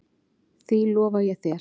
Því lofa ég þér